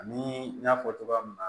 Ani n y'a fɔ cogoya min na